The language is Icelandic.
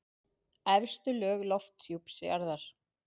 Efstu lög lofthjúps jarðar.